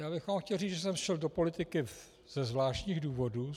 Já bych vám chtěl říct, že jsem šel do politiky ze zvláštních důvodů.